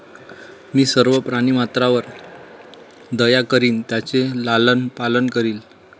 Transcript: मी सर्व प्राणीमात्रावर दया करीन त्यांचे लालन पालन करीन